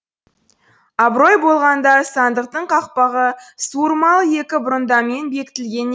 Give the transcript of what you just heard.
абырой болғанда сандықтың қақпағы суырмалы екі бұрандамен бекітілген